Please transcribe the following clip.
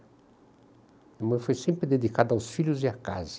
A minha mãe foi sempre dedicada aos filhos e à casa.